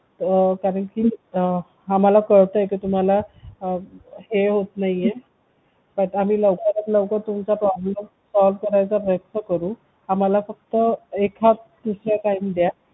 कारण की कळते आम्हाला की तुम्हाला हे होत नाहीये तर आम्ही तुमचा लवकरात लवकर problem करायचा प्रयत्न करू आम्हाला फक्त एखादा time द्या